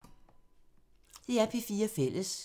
DR P4 Fælles